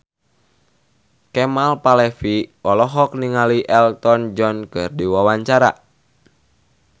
Kemal Palevi olohok ningali Elton John keur diwawancara